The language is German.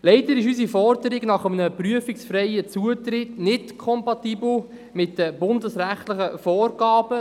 Leider ist unsere Forderung nach einem prüfungsfreien Zutritt nicht kompatibel mit den bundesrechtlichen Vorgaben.